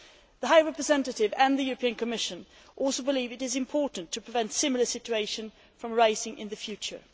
The High Representative and the Commission also believe it is important to prevent similar situations from arising in the future.